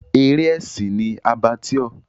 Eré ẹ̀sìn ni Abattoir.